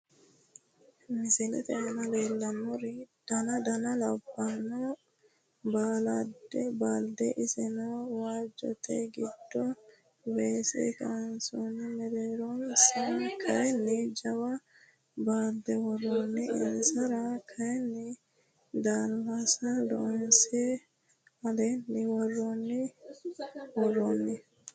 misilete aan leellannori. daana daana labanno balde . iseeno waajote giido weese kansoni. meereronsa kayini jaawa balde worroni. insara kayini dalasa loonse allenna worroni worronni.